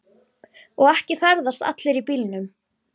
Og ekki ferðast allir í bílum.